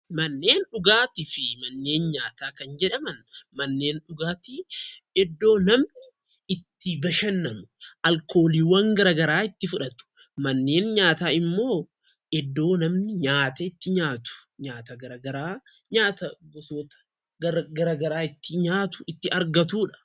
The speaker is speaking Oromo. Manneen dhugaatii fi manneen nyaataa kan jedhaman manneen dhugaatii iddoo namni itti bashannanu alkooliiwwan garaa garaa itti fudhatu. Manneen nyaataa immoo iddoo namni nyaata itti nyaatu, nyaata gara garaa nyaata gosoota gara garaa itti nyaatu itti argatuudha.